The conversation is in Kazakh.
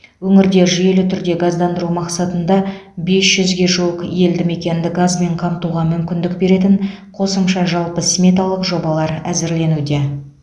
өңірді жүйелі түрде газдандыру мақсатында бес жүзге жуық елді мекенді газбен қамтуға мүмкіндік беретін қосымша жалпы сметалық жобалар әзірленуде